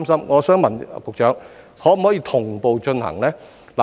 我想問局長，當局可否同步進行呢？